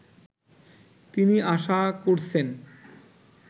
তিনি আশা করছেন